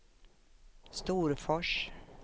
Storfors